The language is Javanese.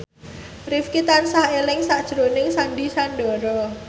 Rifqi tansah eling sakjroning Sandy Sandoro